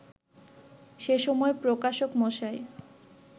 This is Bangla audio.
সেসময় প্রকাশক মশায়